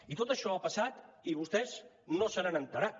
i tot això ha passat i vostès no se n’han assabentat